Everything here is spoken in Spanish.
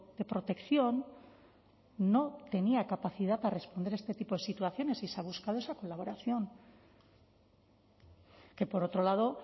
de protección no tenía capacidad para responder a este tipo de situaciones y se ha buscado esa colaboración que por otro lado